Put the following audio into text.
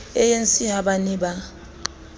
anc ha ba ne ba